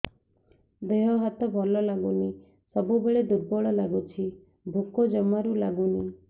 ଦେହ ହାତ ଭଲ ଲାଗୁନି ସବୁବେଳେ ଦୁର୍ବଳ ଲାଗୁଛି ଭୋକ ଜମାରୁ ଲାଗୁନି